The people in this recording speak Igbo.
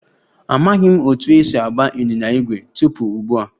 Amaghị m otú e si agba ịnyịnya ígwè tupu ugbu a